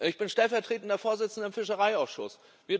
Ich bin stellvertretender Vorsitzender des Fischereiausschusses.